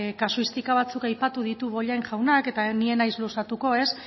kasuistika batzuk aipatu ditu bollain jaunak eta ni ez naiz luzatuko